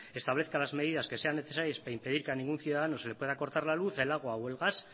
establezca las medidas que sean necesarias para impedir que a ningún ciudadano se le pueda cortar la luz el agua o el gas